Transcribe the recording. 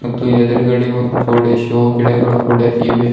ಇದು ಎದುರ್ ಗಡೆ ಒಂದು ತೊಡೆ ಶೋ ಗಿಡಗಳು ಕೂಡ ಇವೆ.